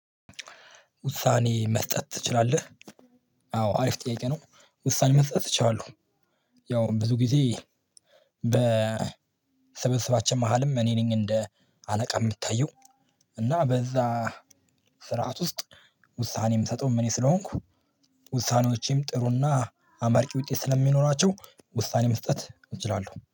ውሳኔ መስጠት ትችላለህ? አዎ አሪፍ ጥያቄ ነው ውሳኔ መስጠት እችላለሁ። ያው ብዙ ጊዜ በስብስባችን መሃልም እኔ ነኝ እንደ አለቃ የምታየው። እና በዛ ስርዓት ውስጥ ውሳኔ ምሰጠውም እኔ ስለሆንኩ። ውሳኔዎቼም ጥሩና አመርቂ ውጤት ስለሚኖራቸው ውሳኔ መስጠት እችላለሁ